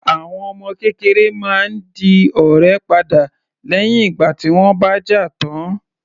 Àwọn ọmọ kékeré máa ń di ọ̀rẹ́ padà lẹ́hìn ìgbà tí wọ́n bá jà tán.